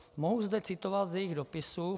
Mohu zde citovat z jejich dopisu.